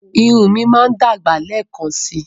Irun mi máa dàgbà lẹ́ẹ̀kan síi.